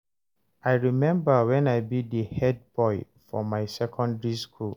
I rememba wen I be di head boy for my secondary school